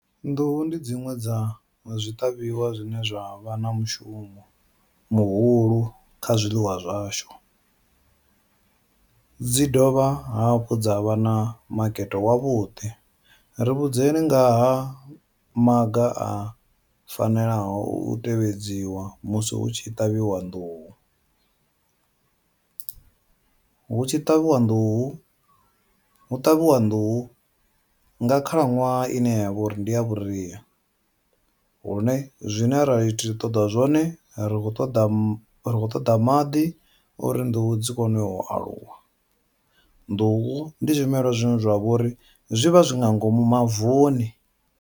Nḓuhu ndi dziṅwe dza zwiṱavhiwa zwine zwa vha na mushumo muhulu kha zwiḽiwa zwashu, dzi dovha hafhu dza vha na makete wavhuḓi ri vhudzekani nga ha maga a fanelaho u tevhedziwa musi hu tshi ṱavhiwa nḓuhu, hu tshi ṱavhiwa nḓuhu hu ṱavhiwa nḓuhu nga khalaṅwaha ine yavha uri ndi ya vhuria, hune zwine ra to ṱoḓa zwone rikho ṱoḓa ri khou ṱoḓa maḓi uri nḓuhu dzi kone u aluwa, nḓuhu ndi zwimelwa zwine zwavha uri zwi vha zwi nga ngomu mavuni.